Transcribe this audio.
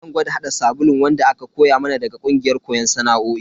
Zan gwada hada sabulun wanda aka koya mana daga kungiyar koyon sana'o'i.